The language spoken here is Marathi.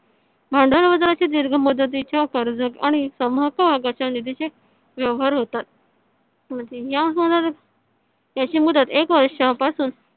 भांडवल बाजाराची दीर्घ मुदतीच्या कर्ज आणि व्यवहार होतात याची मुदत एक वर्षापासून